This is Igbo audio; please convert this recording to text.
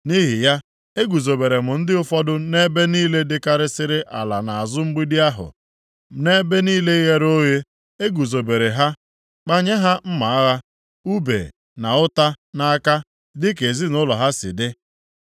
Nʼihi ya, eguzobere m ndị ụfọdụ nʼebe niile dịkarịsịrị ala nʼazụ mgbidi ahụ, nʼebe niile ghere oghe, e guzobere ha, kpanye ha mma agha, ùbe na ụta nʼaka dịka ezinaụlọ ha si dị.